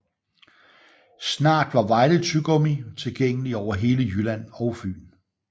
Snart var Vejle Tyggegummi tilgængelig over hele Jylland og Fyn